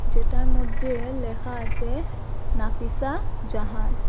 যেটার মধ্যে এ লেখা আসে নাফিসা জাহান।